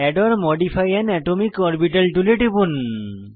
add or modify an atomic orbital টুলে টিপুন